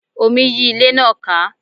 Omi yí ilé náà ká